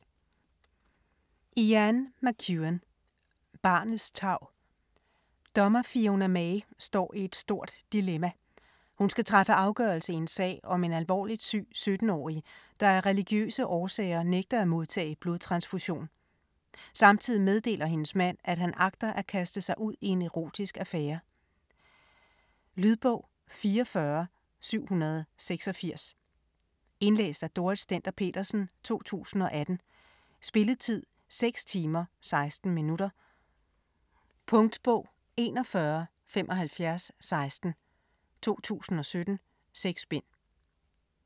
McEwan, Ian: Barnets tarv Dommer Fiona Maye står i et stort dilemma. Hun skal træffe afgørelse i en sag om en alvorligt syg 17-årig, der af religiøse årsager nægter at modtage blodtransfusion. Samtidig meddeler hendes mand, at han agter at kaste sig ud i en erotisk affære. Lydbog 44786 Indlæst af Dorrit Stender-Petersen, 2018. Spilletid: 6 timer, 16 minutter. Punktbog 417516 2017. 6 bind.